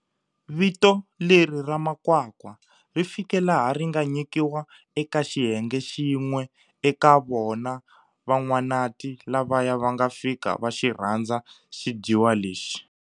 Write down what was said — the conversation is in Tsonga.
Vito leri ra makwakwa ri fike laha ri nga nyikiwa eka xiyenge xin'we eka vona Van'wanati lavaya va nga fika va xi rhandza xidyiwa lexi.